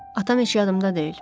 Atam heç yadımda deyil.